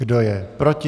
Kdo je proti?